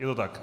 Je to tak?